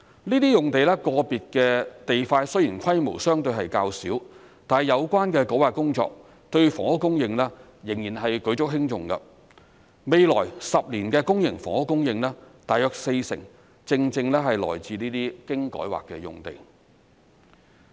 這些用地個別的地塊雖然規模相對較小，但有關的改劃工作對房屋供應仍然是舉足輕重，未來10年的公營房屋供應大約四成正正是來自這些經改劃的用地。